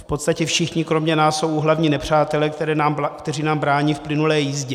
V podstatě všichni kromě nás jsou úhlavní nepřátelé, kteří nám brání v plynulé jízdě.